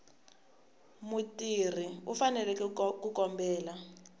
mutirhi u fanele ku kombela